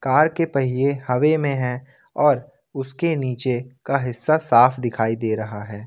Car के पहिए हवे में है और उसके नीचे का हिस्सा साफ दिखाई दे रहा है।